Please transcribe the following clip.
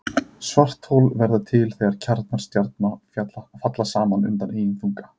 Svarthol verða til þegar kjarnar stjarna falla saman undan eigin þunga.